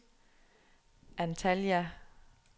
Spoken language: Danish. Antalya